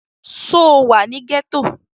Sọ wà ní gẹ́tọ̀?